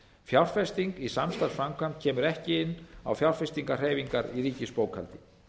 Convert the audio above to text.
fjárfesting í samstarfsframkvæmd kemur ekki inn á fjárfestingahreyfingar í ríkisbókhaldi